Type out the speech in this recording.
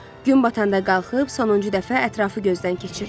Gün batanda qalxıb sonuncu dəfə ətrafı gözdən keçirdi.